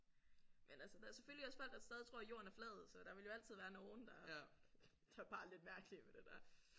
Men altså der er selvfølgelig også folk der stadig tror at jorden er flad så der vil jo altid være nogen der der bare er lidt mærkelige med det der